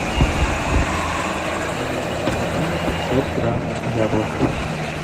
мне необходимо пятьсот грамм яблок